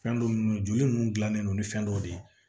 Fɛn dɔ nun joli ninnu dilannen don ni fɛn dɔw de ye